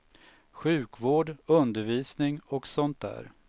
Sjukvård, undervisning och sånt där.